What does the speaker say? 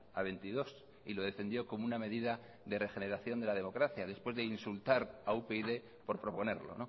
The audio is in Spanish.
a veintidós y lo defendió como una medida de regeneración de la democracia después de insultar a upyd por proponerlo